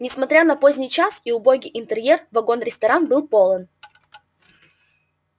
несмотря на поздний час и убогий интерьер вагон-ресторан был полон